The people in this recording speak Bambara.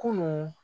Kunun